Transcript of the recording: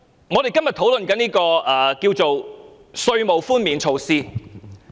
我們今天所討論的是稅務寬免措施。